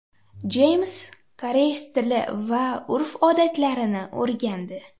Jeyms koreys tili va urf-odatlarini o‘rgandi.